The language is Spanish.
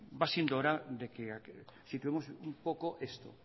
va siendo hora de que situemos un poco esto